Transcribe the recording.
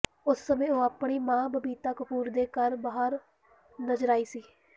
ਉਸ ਸਮੇਂ ਉਹ ਆਪਣੀ ਮਾਂ ਬਬੀਤਾ ਕਪੂਰ ਦੇ ਘਰ ਬਾਹਰ ਨਜ਼ਰ ਆਈ ਸੀ